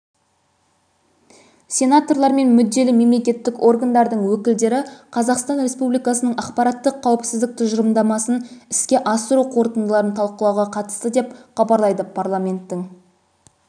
сенаторлар мен мүдделі мемлекеттік органдардың өкілдері қазақстан республикасының ақпараттық қауіпсіздік тұжырымдамасын іске асыру қорытындыларын талқылауға қатысты деп хабарлайды парламенттің